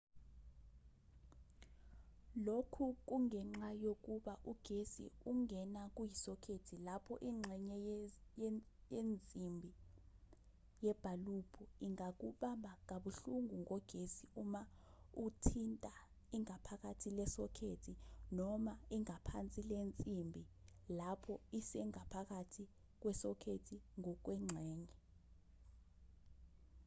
lokhu kungenxa yokuba ugesi ungena kuyisokhethi lapho ingxenye yenzimbi yebhalubhu ingakubamba kabuhlungu ngogesi uma uthinta ingaphakathi lesokhethi noma ingaphansi lensimbi lapho isengaphakathi kwesokhethi ngokwengxenye